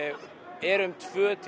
eru um tvö til